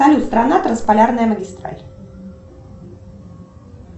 салют страна трансполярная магистраль